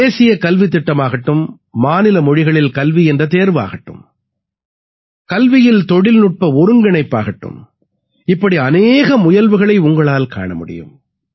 தேசிய கல்வித் திட்டமாகட்டும் மாநில மொழிகளில் கல்வி என்ற தேர்வாகட்டும் கல்வியில் தொழில்நுட்ப ஒருங்கிணைப்பாகட்டும் இப்படி அநேக முயல்வுகளை உங்களால் காண முடியும்